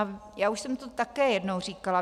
A já už jsem to také jednou říkala.